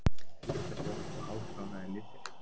Litabók og hálfkláraðir litir.